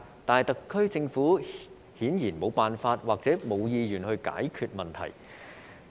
但是，特區政府顯然沒有辦法或沒有意願解決這個問題。